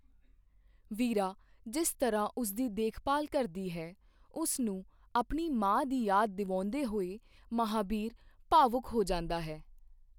ਵੀਰਾ ਜਿਸ ਤਰ੍ਹਾਂ ਉਸ ਦੀ ਦੇਖਭਾਲ ਕਰਦੀ ਹੈ, ਉਸ ਨੂੰ ਆਪਣੀ ਮਾਂ ਦੀ ਯਾਦ ਦਿਵਾਉਂਦੇ ਹੋਏ ਮਹਾਬੀਰ ਭਾਵੁਕ ਹੋ ਜਾਂਦਾ ਹੈ।